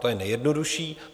To je nejjednodušší.